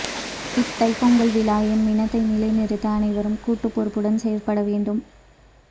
இத் தைப்பொங்கல் விழா எம் இனத்தை நிலை நிறுத்த அனைவரும் கூட்டுப் பொறுப்புடன் செயற்பட வேண்டும்